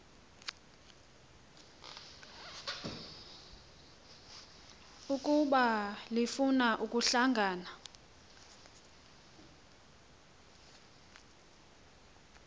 ukuba lifuna ukuhlangana